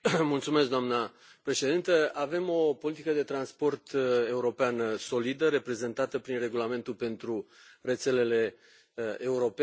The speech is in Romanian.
Doamnă președintă, avem o politică de transport europeană solidă, reprezentată prin Regulamentul pentru rețelele europene.